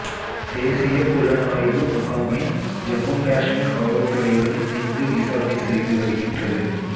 தேசிய புலனாய்வு முகமை ஜம்மு காஷ்மீர் காவல்துறையுடன் இணைந்து விசாரணை செய்து வருகின்றது